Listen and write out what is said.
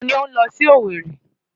Ta ni ó ń lọ sí Owerri?